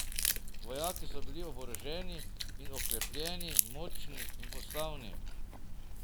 Vojaki so bili oboroženi in oklepljeni, močni in postavni.